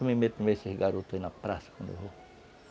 Eu me meto no meio desses garotos aí na praça, quando eu vou.